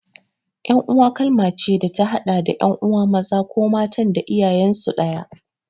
Ƴan'uwa kalma ce da ta haɗa da ƴan'uwa maza ko matan da iyayensu ɗaya.